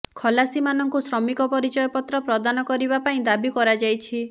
ଖଲାସିମାନଙ୍କୁ ଶ୍ରମିକ ପରିଚୟପତ୍ର ପ୍ରଦାନ କରିବା ପାଇଁ ଦାବୀ କରାଯାଇଛି